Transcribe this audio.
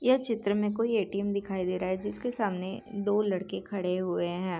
ये चित्र में कोई ए.टी.एम. दिखाई दे रहा है जिसके सामने दो लड़के खड़े हुए हैं।